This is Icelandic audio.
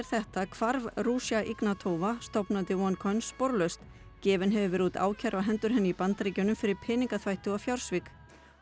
þetta var hvarf Ruja Ignatova sporlaust gefin hefur verið út ákæra á hendur henni í Bandaríkjunum fyrir peningaþvætti og fjársvik